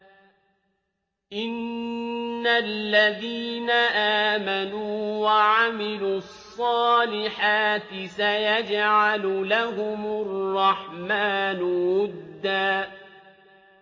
إِنَّ الَّذِينَ آمَنُوا وَعَمِلُوا الصَّالِحَاتِ سَيَجْعَلُ لَهُمُ الرَّحْمَٰنُ وُدًّا